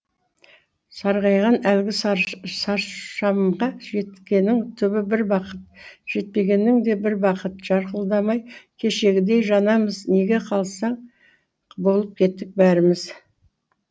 сарғайған әлгі саршамға жеткенің түбі бір бақыт жетпегенің де бір бақыт жарқылдамай кешегідей жанамыз неге қалса болып кеттік бәріміз